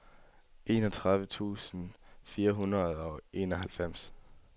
enogtredive tusind fire hundrede og enoghalvfems